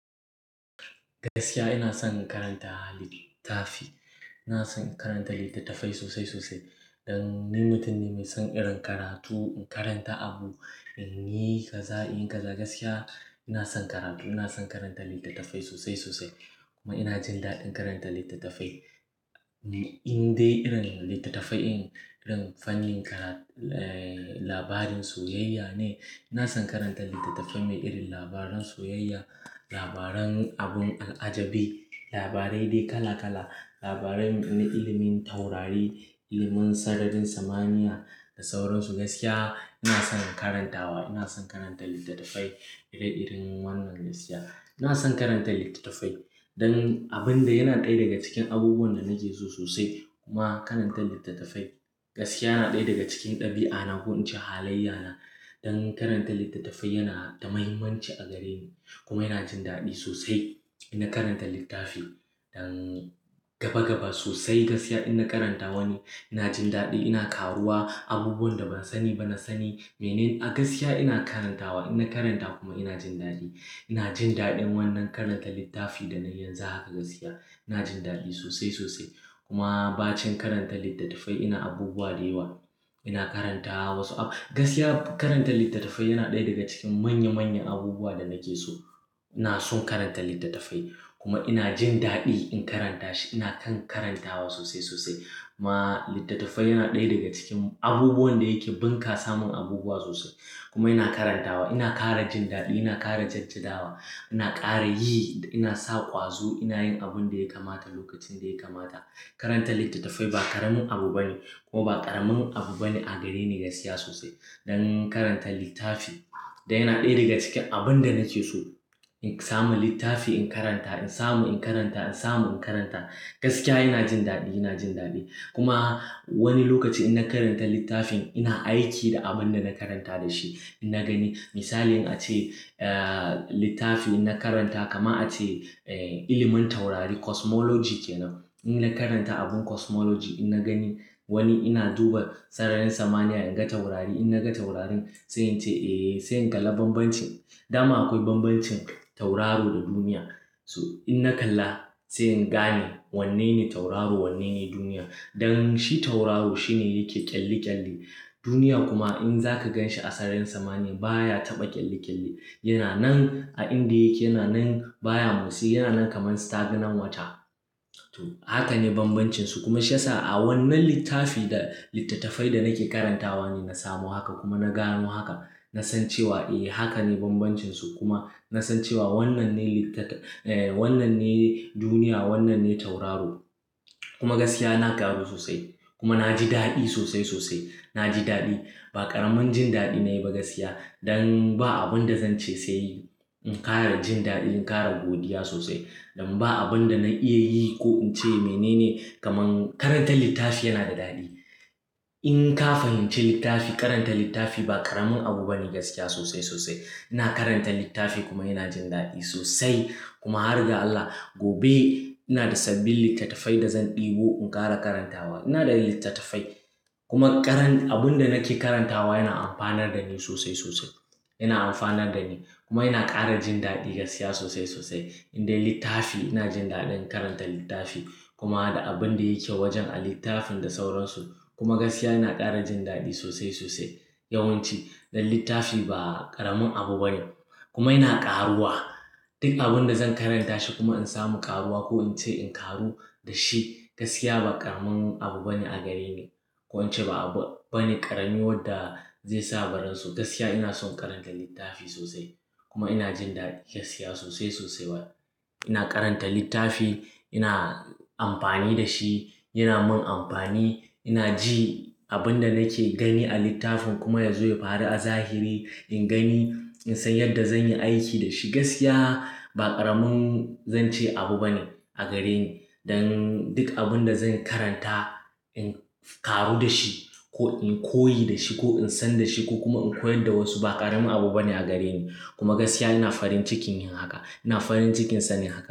Gaskiya ina son in karanta littafi. Ina son in karanta littattafai sosai sosai. Dan ni mutum ne mai son irin karatu, in karanta abu, in yi kaza, in yi kaza. Gaskiya ina son karatu. Ina son karanta littattafai sosai sosai kuma ina jin daɗin karanta littattafai. In dai irin littattafai, irin fannin ka, labarin soyayya, ina son karanta littafai. Soyaya, labaran abin alajabi labarai dai kalala labarai na ilimin taurari ilimin sararin samaniya da sauransu. Gaskiya ina son in karantawa, ina son karanta littattafai iri iri wannan. Gaskiya ina son karanta littattafai. Dan abin da yana ɗaya daga cikin abubuwan da nake so sosai kuma karanta littattafai. Gaskiya yana ɗaya daga cikin ɗabi'a na ko in ce halayya na. Dan karanta littattafai yana da muhimmanci a gare ni kuma ina jin daɗi sosai. Ina karanta littafi dan gaba gaba sosai. Gaskiya ina karantawa ne. Ina jin daɗi, ina karuwa, abubuwan da ban sani ba na sani. Mene gaskiya ina karantawa, ina karanta kuma ina jin daɗi. Ina jin daɗin wannan karanta littafi da na yi yanzu haka. Gaskiya ina jin daɗi sosai sosai. Kuma ba cin karanta littattafai ina abubuwa da yawa. Ina karanta wasu ab. Gaskiya karanta littattafai yana ɗaya daga cikin manya manyan abubuwa da nake so. Ina son karanta littattafai kuma ina jin daɗi in karanta shi. Ina kan karantawa sosai sosai. Kuma littattafai yana ɗaya daga cikin abubuwan da yake bunƙasa mun abubuwa sosai. Kuma ina karantawa, ina ƙara jin daɗi, ina ƙara jajja dawa, ina ƙara yi, ina sa ƙwazo, ina yin abin da ya kamata lokacin da ya kamata. Karanta littattafai ba ƙaramin abu bane ko ba ƙaramin abu bane a gare ni. Ne gaskiya sosai. Dan karanta littafi dai yana ɗaya daga cikin abun da nake so. In samu littafi in karanta, in samu in karanta, in samu in karanta. Gaskiya ina jin daɗi, ina jin daɗi. Kuma wani lokaci in na karanta littafin ina aiki da abin da na karanta da shi. Ina gani misali in a ce littafin na karanta kama a ce ilimin taurari cosmology ke nan. In na karanta abun cosmology, ina gani wani ina duba sararin samaniya, in ga taurari. In na ga taurarin sai in ce eh, sai in kalla bambancin. Da ma akwai bambancin tauraro da duniya. To inna kalla sai ingane wannene tauraro wannene duniyan dan shi tauraro shine yake ƙyalli ƙyalli. Duniya kuma in zaka gan shi a sararin samaniya baya taɓa ƙyalli ƙyalli. Yana nan a inda yake, yana nan baya motsi, yana nan kamar stagnant wata. To haka ne bambancinsu. Kuma shi ya sa a wannan littafi da littattafai da nake karantawa ne na samu haka kuma na gano haka. Na san cewa eh haka ne bambancinsu. Kuma nasan cewa wannan ne duniya wannan ne tauraro kuma gaskiya na ƙaru sosai kuma na ji daɗi sosai sosai. Na ji daɗi. A karamin jin dadi nayiba gaskiya dan ba abun da zan ce sai in ƙara jin daɗi, in ƙara godiya sosai. Dan ba abun da na iya yi ko in ce mene ne kamar karanta littafi yana da daɗi. In ka fahimci littafi, karanta littafi ba ƙaramin abu bane gaskiya sosai sosai. Ina karanta littafi kuma inajin dadi sosai kuma har ga Allah gobe ina da sabil littattafai da zan ɗebo in ƙara karantawa. Ina da littattafai kuma ƙaran-- abun da nake karantawa yana amfanar da ni sosai sosai. Yana amfanar da ni kuma yana ƙara jin daɗi gaskiya sosai sosai. In dai littafi ina jin daɗin karanta littafi kuma ada abun da yake wajen a littafin da sauransu. Kuma gaskiya ina ƙara jin daɗi sosai sosai. Yawanci don littafi ba ƙaramin abu bane. Kuma ina ƙaruwa duk abun da zan karanta shi kuma in samu ƙaruwa ko in ce in ƙaru da shi. Gaskiya ba ƙaramin abu bane a gare ni. Ko in ce ba abu bane ƙarami wadda zai sa ba ransu. Gaskiya ina son karanta littafi sosai kuma ina jin daɗi gaskiya sosai sosai. Ina karanta littafi ina amfani da shi yana min amfani ina ji abunda nake gani zai faru a tsahiri. In gani, in san yadda zan yi aiki da shi. Gaskiya ba ƙaramin zan ce abu bane a gare ni. Dan duk abun da zan karanta in ƙaru da shi ko in koyi da shi ko in san da shi ko kuma in koyar da wasu, ba ƙaramin abu bane a gare ni. Kuma gaskiya ina farin cikin yin haka, ina farin cikin sani haka.